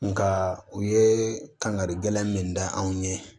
Nka u ye kangarida min da anw ɲɛ